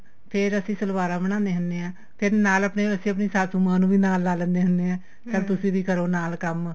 ਫੇਰ ਅਸੀਂ ਸਲਵਾਰਾ ਬਣਾਂਨੇ ਹੁੰਨੇ ਆ ਫੇਰ ਨਾਲ ਆਪਣੇ ਸਾਸੁ ਮਾਂ ਨੂੰ ਵੀ ਨਾਲ ਲਾ ਲੈਨੇ ਹੁੰਨੇ ਆ ਤੁਸੀਂ ਵੀ ਕਰੋ ਨਾਲ ਕੰਮ